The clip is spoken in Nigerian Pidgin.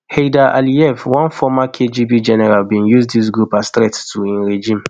heydar aliyev one former kgb general bin see dis group as threat to im regime